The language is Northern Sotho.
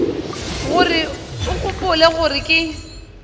gore o gopola gore ke